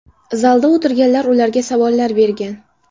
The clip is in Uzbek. Zalda o‘tirganlar ularga savollar bergan.